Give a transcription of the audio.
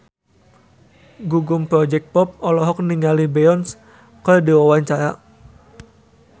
Gugum Project Pop olohok ningali Beyonce keur diwawancara